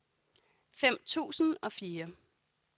fem tusind og fire